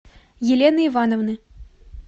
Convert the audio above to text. елены ивановны